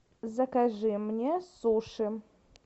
закажи мне суши